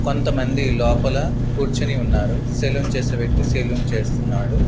కొంతమంది లోపల కూర్చొని ఉన్నారు సెలూన్ చేసే వ్యక్తి సెలూన్ చేస్తున్నాడు.